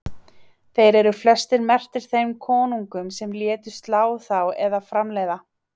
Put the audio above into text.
Þeir eru flestir merktir þeim konungum sem létu slá þá eða framleiða.